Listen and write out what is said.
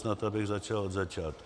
Snad, abych začal od začátku.